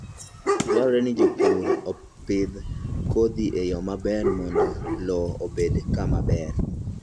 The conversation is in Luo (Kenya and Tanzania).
Dwarore ni jopur opidh kodhi e yo maber mondo lowo obed kama ber.